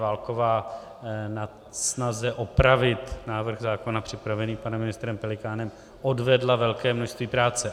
Válková ve snaze opravit návrh zákona připravený panem ministrem Pelikánem odvedla velké množství práce.